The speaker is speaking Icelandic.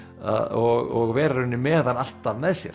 og vera í rauninni með hann alltaf með sér